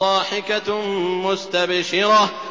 ضَاحِكَةٌ مُّسْتَبْشِرَةٌ